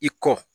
I kɔ